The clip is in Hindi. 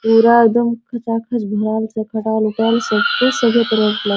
पूरा एकदम खचा खच भरल छै खटाल उटाल सब कुछ सही तरह से